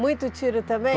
Muito tiro também?